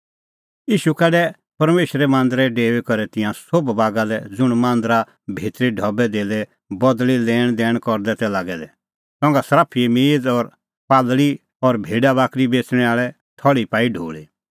ईशू काढै परमेशरे मांदरै डेऊई करै तिंयां सोभ बागा लै ज़ुंण मांदरा भितरी ढबैधेल्लै बदल़ी लैणदैण करदै तै लागै दै संघा सर्फिए मेज़ और कबूतर और भेडा बाकरी बेच़णैं आल़े थल़्ही पाई ढोल़ी